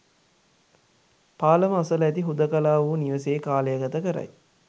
පාලම අසල ඇති හුදකලාවූ නිවසේ කාලය ගත කරයි